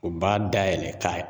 U b'a dayɛlɛ k'a ye